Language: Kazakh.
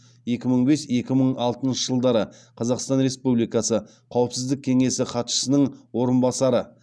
екі мың бес екі мың алтыншы жылдары қазақстан республикасы қауіпсіздік кеңесі хатшысының орынбасары